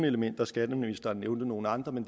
elementer skatteministeren nævnte nogle andre men